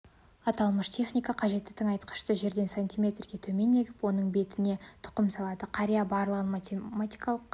аталмыш техника қажетті тыңайтқышты жерден сантиметрге төмен егіп оның бетіне тұқым салады қария барлығын математикалық